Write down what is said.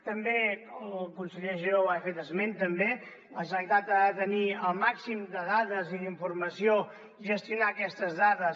també el conseller giró n’ha fet esment també la generalitat ha de tenir el màxim de dades i d’informació gestionar aquestes dades